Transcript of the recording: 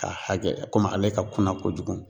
Ka hakɛ ale ka kuna kojugu.